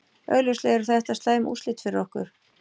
Augljóslega eru þetta slæm úrslit fyrir okkur.